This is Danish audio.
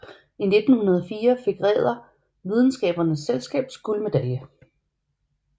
I 1904 fik Ræder Videnskabernes Selskabs guldmedalje